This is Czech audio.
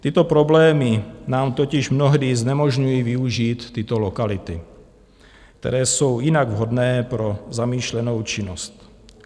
Tyto problémy nám totiž mnohdy znemožňují využít tyto lokality, které jsou jinak vhodné pro zamýšlenou činnost.